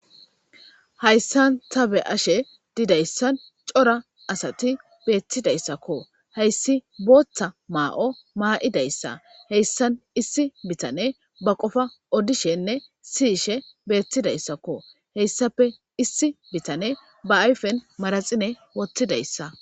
hayssan ta be7ashe didayssan cora asati beettidayssakko heyssi booththa maa7o maa7idayssa heyssan issi bitane ba qofa odishenne siyishe beettidayssakko heyssape issi bitane ba ayfen maraxine wottidayssa